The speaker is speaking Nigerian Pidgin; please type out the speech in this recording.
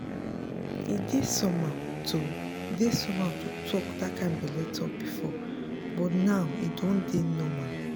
e dey somehow to dey somehow to talk that kind belle talk before but now e don dey normal.